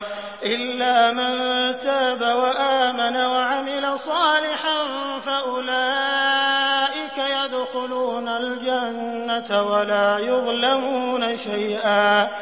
إِلَّا مَن تَابَ وَآمَنَ وَعَمِلَ صَالِحًا فَأُولَٰئِكَ يَدْخُلُونَ الْجَنَّةَ وَلَا يُظْلَمُونَ شَيْئًا